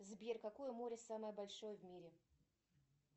сбер какое море самое большое в мире